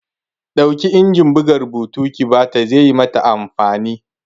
Ɗauki injin buga rubutun ki bata! ze yi mata amfani!